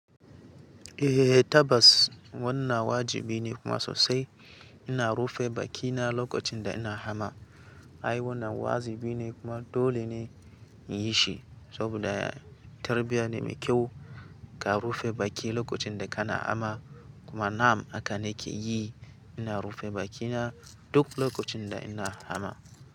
Eh, tabbas wannan wajibi ne kuma sosai. Ina rufe bakina lokacin da ina hama. Ai, wannan wajibi ne kuma dole ne in yi shi saboda tarbiyya ne mai kyau ka rufe baki lokacin da kana hamma. Kuma na'am haka ni ke yi, ina rufe bakina duk lokacin da ina hamma.